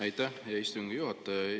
Aitäh, hea istungi juhataja!